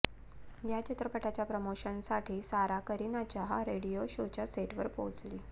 या चित्रपटाच्या प्रमोशनसाठी सारा करिनाच्या रेडिओ शोच्या सेटवर पोहोचली